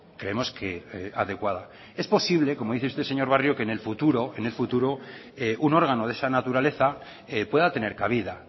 creemos que adecuada es posible como dice usted señor barrio en el futuro en el futuro un órgano de esa naturaleza pueda tener cabida